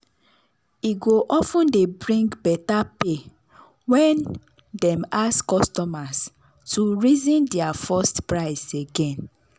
e go of ten dey bring better pay when dem ask customers to reason dia first price again.